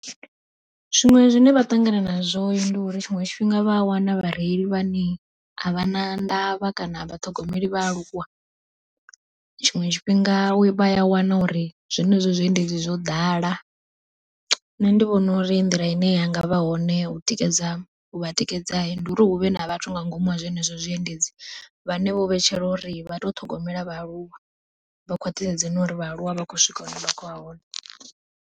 Zwiṅwe zwine vha ṱangana nazwo ndi uri tshiṅwe tshifhinga vha a wana vhareili vhane a vha na ndavha kana avha vhaṱhogomeli vhaaluwa. Tshiṅwe tshifhinga vha ya wana uri zwenezwo zwiendedzi zwo ḓala, nṋe ndi vhona uri nḓila ine yanga vha hone u tikedza u vha tikedza ndi uri huvhe na vhathu nga ngomu ha zwenezwo zwiendedzi, vhane vho vhetshela uri vha to ṱhogomela vhaaluwa vha khwaṱhisedze na uri vhaaluwa vha khou swika hune vha khoya hone.